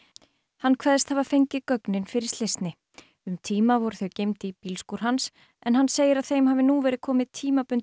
hann kveðst hafa fengið gögnin fyrir slysni um tíma voru þau geymd í bílskúr hans hann segir að þeim hafi nú verið komið tímabundið